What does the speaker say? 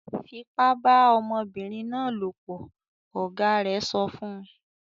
"Fipá bá ọmọbìnrin náà lopọ̀!", Ọ̀gá rẹ̀ sọ fún